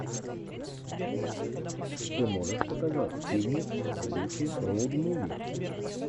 ты можешь показать фильмик в духе роуд муви